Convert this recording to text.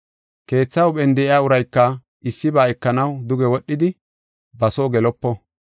Keetha huuphen de7iya urayka issiba ekanaw duge wodhidi, ba soo gelopo.